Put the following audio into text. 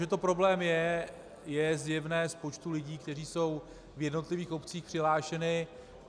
Že to problém je, je zjevné z počtu lidí, kteří jsou v jednotlivých obcích přihlášeni.